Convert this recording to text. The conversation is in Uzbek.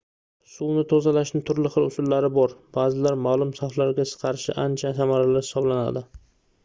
suvni tozalashning turli xil usullari bor baʼzilari maʼlum xavflarga qarshi ancha samarali hisoblanadi